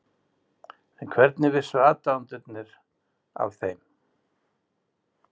En hvernig vissu aðdáendurnir af þeim?